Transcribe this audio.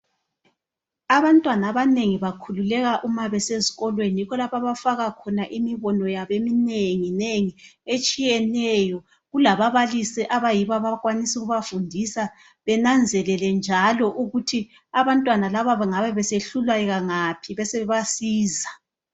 Abantwana abanengi bakhululeka uma besesikolweni. Yikho lapho abafaka khona imibono yabo eminengi nengi etshiyeneyo kulababalisi abayibo abakwanisa ukubafundisa bananzelele njalo ukuthi abantwana laba bengabe besehluleka ngaphi besebebasiza